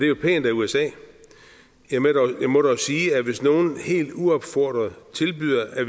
jo pænt af usa jeg må dog sige at hvis nogen helt uopfordret tilbyder at